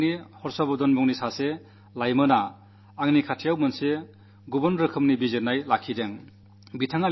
കഴിഞ്ഞ ദിവസം പതിനൊന്നാം ക്ലാസിലെ ഹർഷവർധൻ എന്നു പേരുള്ള ഒരു കുട്ടി എന്റെ മുന്നിൽ ഒരു വേറിട്ട ചിന്താഗതി അവതരിപ്പിച്ചു